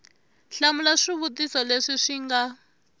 hlamula swivutiso leswi swi nga